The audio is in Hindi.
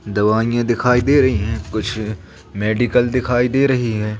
दवाइयां दिखाई दे रही हैं कुछ मेडिकल दिखाई दे रही हैं।